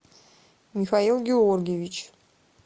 михаил георгиевич